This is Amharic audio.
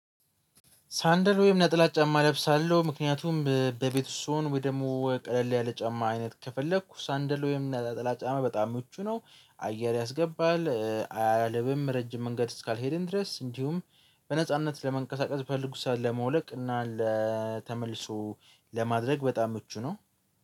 ሳንደል ወይም ነጥላ ጫማ እለብሳለሁ ምክንያቱም በቤት ስሆን ወይ ደግሞ ቀለል ያለ ጫማ አይነት ከፈለኩ ሳንደል ወይም ነጣላ ጫማ በጣም ምቹ ነው። አየር ያስገባል አያልብም ረጅም መንገድ እስካልሄድን ድረስ እንዲሁም በነጻነት ለመንቀሳቀስ በፈልኩት ሰዓት ለማውለቅ እና ለተመልሶ ለማድረግ በጣም ምቹ ነው